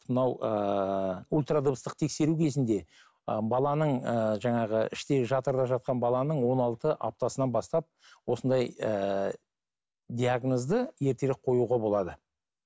мынау ыыы ультрадыбыстық тексеру кезінде ы баланың ыыы жаңағы іштегі жатырда жатқан баланың он алты аптасынан бастап осындай ііі диагнозды ертерек қоюға болады